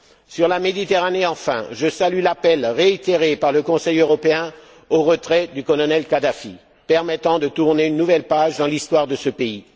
Sur la Méditerranée enfin, je salue l'appel réitéré par le Conseil européen au retrait du colonel Kadhafi, permettant de tourner une nouvelle page dans l'histoire de ce pays.